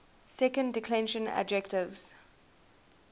second declension adjectives